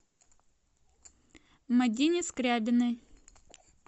мадине скрябиной